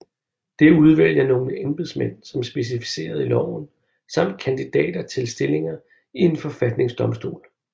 Det udvælger nogle embedsmænd som specificeret i loven samt kandidater til stillinger i en forfatningsdomstol